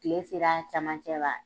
Kile sera camancɛ wa ?